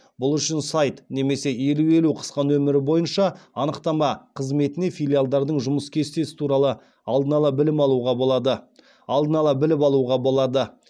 бұл үшін сайт немесе елу елу қысқа нөмірі бойынша анықтама қызметінен филиалдардың жұмыс кестесі туралы алдын ала алдын ала біліп алуға болады